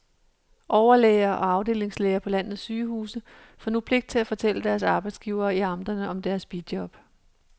Overlæger og afdelingslæger på landets sygehuse får nu pligt til at fortælle deres arbejdsgivere i amterne om deres bijob.